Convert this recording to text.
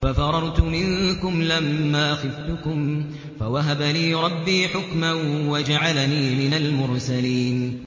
فَفَرَرْتُ مِنكُمْ لَمَّا خِفْتُكُمْ فَوَهَبَ لِي رَبِّي حُكْمًا وَجَعَلَنِي مِنَ الْمُرْسَلِينَ